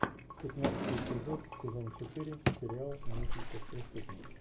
пятнадцатый эпизод сезон четыре сериал мысли как преступник